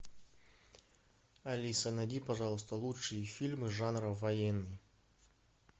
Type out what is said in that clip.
алиса найди пожалуйста лучшие фильмы жанра военный